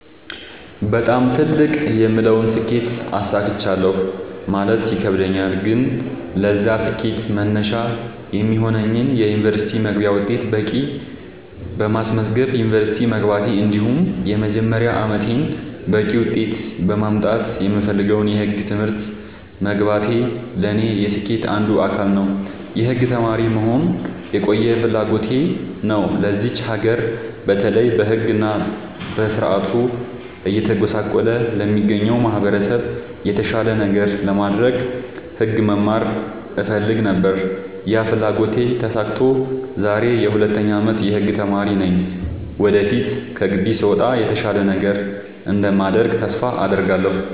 በጣም ትልቅ የምለውን ስኬት አሳክቻለሁ ማለት ይከብደኛል። ግን ለዛ ስኬት መነሻ የሚሆነኝን የ ዩኒቨርስቲ መግቢያ ውጤት በቂ በማስመዝገብ ዩንቨርስቲ መግባቴ እንዲሁም የመጀመሪያ አመቴን በቂ ውጤት በማምጣት የምፈልገውን የህግ ትምህርት መግባቴ ለኔ የስኬቴ አንዱ አካል ነው። የህግ ተማሪ መሆን የቆየ ፍላጎቴ ነው ለዚች ሀገር በተለይ በህግ እና በስርዓቱ እየተጎሳቆለ ለሚገኘው ማህበረሰብ የተሻለ ነገር ለማድረግ ህግ መማር እፈልግ ነበር ያ ፍላጎቴ ተሳክቶ ዛሬ የ 2ኛ አመት የህግ ተማሪ ነኝ ወደፊት ከግቢ ስወጣ የተሻለ ነገር እንደማደርግ ተስፋ አድርጋለሁ።